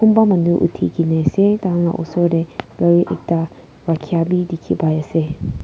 kunba manu uthikena ase taihan la osor teh gari ekta rakhia bi dikhipaiase.